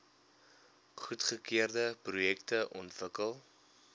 goedgekeurde projekte ontwikkel